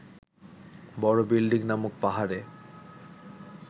বড় বিল্ডিং নামক পাহাড়ে